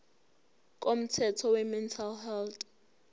komthetho wemental health